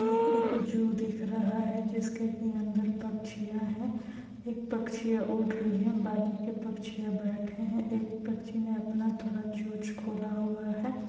ये एक जू दिख रहा है जिसके की अंदर पक्षीयां है एक पक्षीयां उड़ रही है बाकी के पक्षीयां बैठे है एक पक्षी ने अपना थोड़ा चोंच खोला हुआ है।